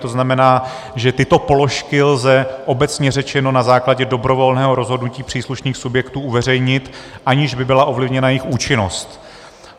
To znamená, že tyto položky lze, obecně řečeno, na základě dobrovolného rozhodnutí příslušných subjektů uveřejnit, aniž by byla ovlivněna jejich účinnost.